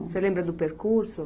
Você lembra do percurso?